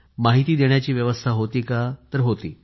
माहिती देण्याची व्यवस्था होती का तर होती